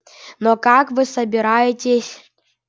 но как вы собираетесь